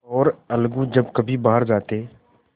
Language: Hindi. और अलगू जब कभी बाहर जाते